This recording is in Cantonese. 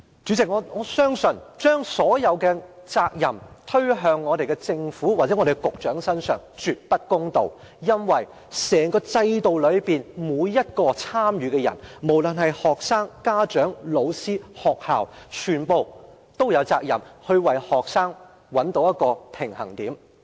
主席，我相信將所有責任推到政府或局長身上是絕對不公道的，因為在整個制度中，每一位參與者，不論是學生、家長、老師抑或學校，全都有責任為學生找到一個平衡點。